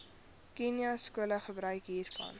khanyaskole gebruik hiervan